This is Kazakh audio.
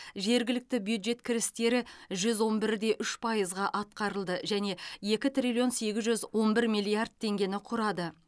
жергілікті бюджет кірістері жүз он бір де үш пайызға атқарылды және екі триллион сегіз жүз он бір миллиард теңгені құрады